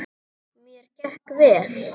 Mér gekk vel.